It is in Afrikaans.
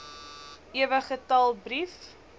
ewe getal brief